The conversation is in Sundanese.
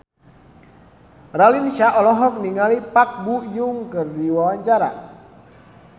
Raline Shah olohok ningali Park Bo Yung keur diwawancara